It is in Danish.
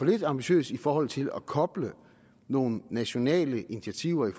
lidt ambitiøs i forhold til at koble nogle nationale initiativer i